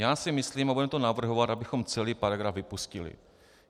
Já si myslím, a budeme to navrhovat, abychom celý paragraf vypustili.